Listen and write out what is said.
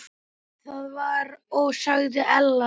Það var og sagði Ella.